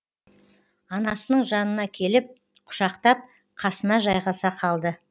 анасының жанына келіп құшақтап қасына жайғаса қалды